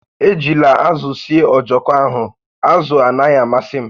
Ejila azụ sie ojoko ahụ, azụ anaghị amasị m!